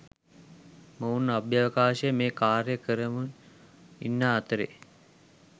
මොවුන් අභ්‍යවකාශයේ මේ කාර්යය කරමුන් ඉන්නා අතරේ